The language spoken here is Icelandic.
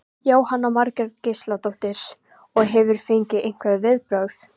Jóhanna Margrét Gísladóttir: Og hefurðu fengið einhver viðbrögð?